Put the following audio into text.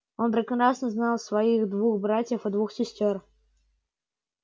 он прекрасно знал своих двух братьев и двух сестёр